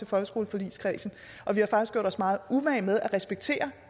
folkeskoleforligskredsen og vi har faktisk gjort os meget umage med at respektere